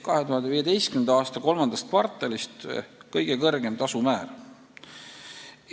2015. aasta III kvartalist on see kõige kõrgem tasumäär.